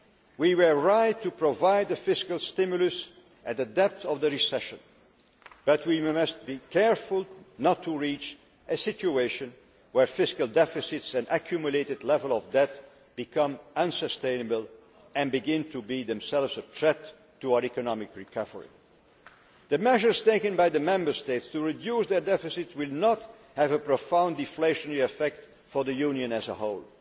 We were right to provide the fiscal stimulus at the depth of the recession, but we must be careful not to reach a situation where fiscal deficits and accumulated levels of debt become unsustainable and begin to be themselves a threat to our economic recovery. The measures taken by the Member States to reduce their deficit will not have a profound deflationary effect for the Union as a